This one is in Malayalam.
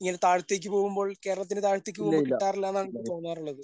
ഇങ്ങനെ താഴത്തേക്ക് പോകുമ്പോൾ കേരളത്തിന് താഴത്തേക്ക് പോകുമ്പോ കിട്ടാറില്ലന്നാണ് എനിക്ക് തോന്നാറുള്ളത്.